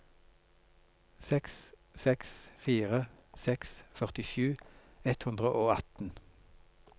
seks seks fire seks førtisju ett hundre og atten